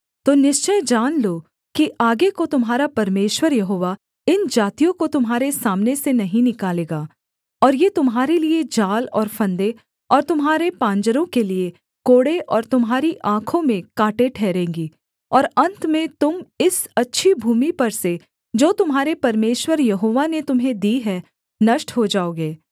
तो निश्चय जान लो कि आगे को तुम्हारा परमेश्वर यहोवा इन जातियों को तुम्हारे सामने से नहीं निकालेगा और ये तुम्हारे लिये जाल और फंदे और तुम्हारे पांजरों के लिये कोड़े और तुम्हारी आँखों में काँटे ठहरेंगी और अन्त में तुम इस अच्छी भूमि पर से जो तुम्हारे परमेश्वर यहोवा ने तुम्हें दी है नष्ट हो जाओगे